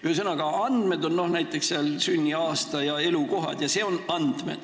Ühesõnaga, andmed on näiteks sünniaasta ja elukohad.